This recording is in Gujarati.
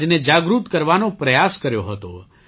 સમાજને જાગૃત કરવાનો પ્રયાસ કર્યો હતો